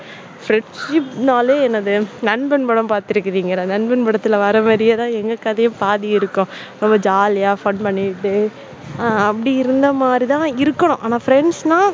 friendship னாலே என்னது நண்பன் படம் பார்த்திருக்கிறீர்களா? நண்பன் படத்துல வர்ற மாதிரியே தான் எங்க கதையும் பாதி இருக்கும் ரொம்ப jolly யா fun பண்ணிட்டு அப்படி இருந்த மாதிரி தான் இருக்கணும். ஆனா, friends னா